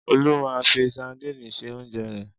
Olú máa ń fi sadínì se oúnjẹ rẹ̀.